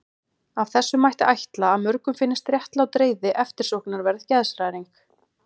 Af þessu mætti ætla að mörgum finnist réttlát reiði eftirsóknarverð geðshræring.